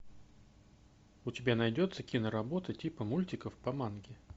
у тебя найдется киноработа типа мультиков по манге